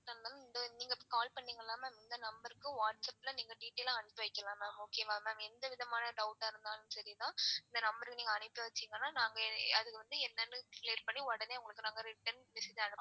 நீங்க call பண்ணீங்கல ma'am இந்த number க்கு whatsapp ல நீங்க detail ஆ அனுப்பி வைக்கலாம் mam okay வா ma'am எந்த விதமான doubt ஆ இருந்தாலும் சரி மா இந்த number க்கு நீங்க அனுப்பி வச்சிங்கனா நாங்க அது வந்து என்னனா பண்ணி உங்களுக்கு நாங்க return message